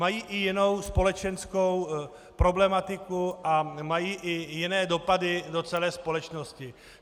Mají i jinou společenskou problematiku a mají i jiné dopady do celé společnosti.